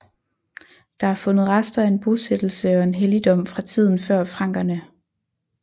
Der er fundet rester af en bosættelse og en helligdom fra tiden før frankerne